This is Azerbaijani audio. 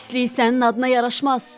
Pislik sənin adına yaraşmaz.”